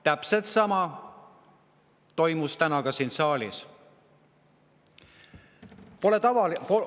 " Täpselt sama toimus täna ka siin saalis.